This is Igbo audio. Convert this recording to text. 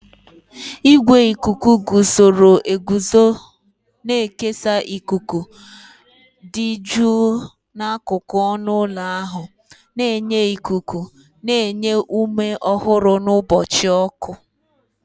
Igwe ikuku guzoro eguzo na-ekesa ikuku dị jụụ n'akụkụ ọnụ ụlọ ahụ, na-enye ikuku na-enye ume ọhụrụ n'ụbọchị ọkụ.